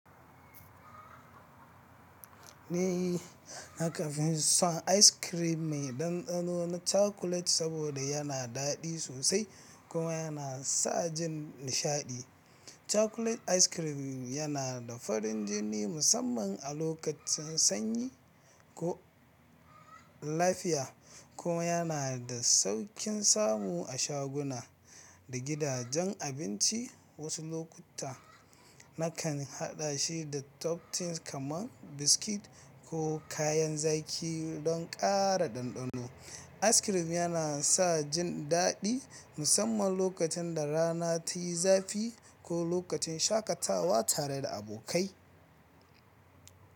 Eh, haka ne son ice cream mai ɗanɗano chocolate saboda yana daɗi sosai kuma yana sa jin nishaɗi. Chocolate ice cream yana da farin jini musamman a lokacin sanyi ko. Lafiya kuma yana da sauƙin samu a shaguna da gidajen abinci. Wasu lokuta, nakan haɗa shi da top things kamar biscuits ko kayan zaki don ƙara ɗanɗano. Ice cream yana sa jin daɗi, musamman lokacin da rana tayi zafi ko lokacin shakatawa tare da abokai.